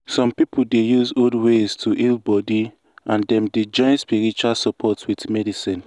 some people dey use old ways to heal body and dem dey join spiritual support with medicine.